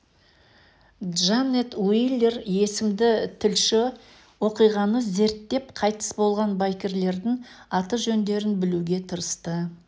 джанет уилер есімді тілші оқиғаны зерттеп қайтыс болған байкерлердің аты-жөндерін білуге тырысты